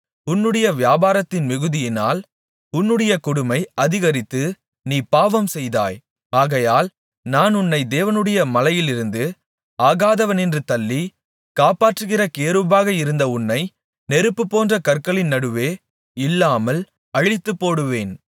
உன்னுடைய வியாபாரத்தின் மிகுதியினால் உன்னுடைய கொடுமை அதிகரித்து நீ பாவம்செய்தாய் ஆகையால் நான் உன்னை தேவனுடைய மலையிலிருந்து ஆகாதவனென்று தள்ளி காப்பாற்றுகிற கேருபாக இருந்த உன்னை நெருப்புபோன்ற கற்களின் நடுவே இல்லாமல் அழித்துப்போடுவேன்